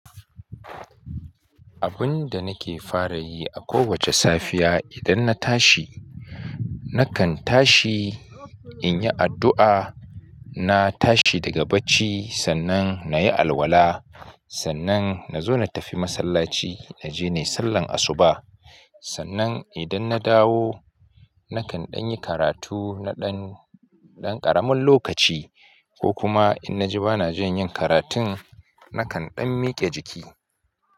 Abun da nake fara yi a kowace safiya idan na tashi, nakan tashi in yi addu'a, na tashi daga bacci sannan na yi alwala, sannan na zo na tafi masallaci na je ne sallan asuba, sannan idan na dawo nakan ɗan yi karatu na ɗan, ɗan ƙaramin lokaci ko kuma in na ji ba na jin yin karatun nakan ɗan miƙe jiki.